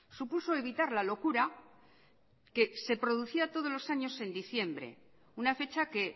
supuso evitar la locura que se producía todos los años en diciembre una fecha que